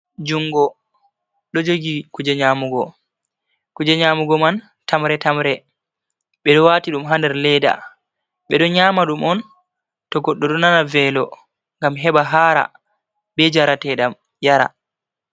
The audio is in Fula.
Junngo ɗo jogi kuje nyaamugo, kuje nyaamugo man tamre-tamre ɓe ɗo waati ɗum ha nder leeda, ɓe ɗo nyaama ɗum on to goɗɗo ɗo nana veelo, ngam heɓa haara bee njarteeɗam yara.